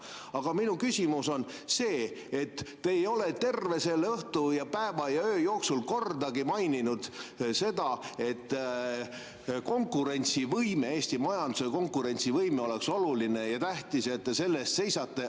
Aga minu küsimus on see, et te ei ole terve selle õhtu ja päeva ja öö jooksul kordagi maininud, et Eesti majanduse konkurentsivõime oleks oluline ja tähtis ning et te selle eest seisate.